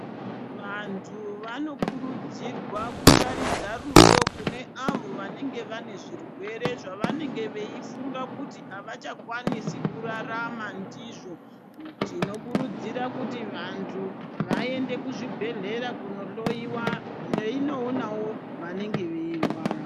Vantu vanokurudzirwa kutaridza rudo kune avo vanenge vane zvirwere zvavanenge veifunga kuti havachakwanisi kurarama ndizvo. Tinokurudzira kuti vantu vaende kuzvibhedhlera kunohoiwa veinoonavo vanenge veirwara.